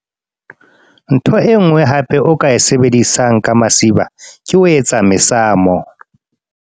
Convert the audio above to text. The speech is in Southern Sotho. Ntho e nngwe hape o ka e sebedisang ka masiba. Ke ho etsa mesamo.